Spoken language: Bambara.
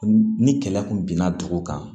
Ni kɛlɛ kun binna dugu kan